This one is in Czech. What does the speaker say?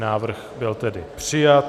Návrh byl tedy přijat.